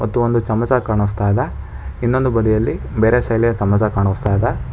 ಮತ್ತು ಒಂದು ಚಮಚ ಕಾಣಿಸ್ತಾ ಇದೆ ಇನ್ನೊಂದು ಬದಿಯಲ್ಲಿ ಬೇರೆ ಶೈಲಿಯ ಚಮಚ ಕಾಣಿಸ್ತಾ ಇದೆ.